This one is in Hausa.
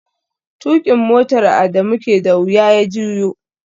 Tukin motar Adamu ke da wuya ya juyo